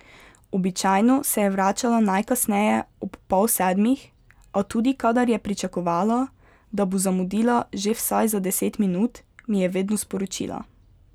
Običajno se je vračala najkasneje ob pol sedmih, a tudi kadar je pričakovala, da bo zamudila že vsaj za deset minut, mi je vedno sporočila.